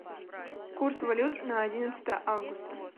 курс валют на одиннадцатое августа